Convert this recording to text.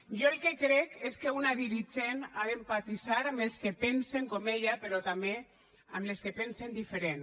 jo el que crec és que una dirigent ha d’empatitzar amb els que pensen com ella però també amb els que pensen diferent